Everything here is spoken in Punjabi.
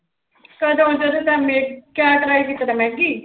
ਕਦੋਂ ਜਦੋਂ ਤੈਂ ਮੈ ਕਿਆ try ਕੀਤਾ ਸੀ ਮੈਗੀ।